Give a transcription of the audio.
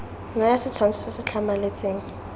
naya setshwantsho se se tlhamaletseng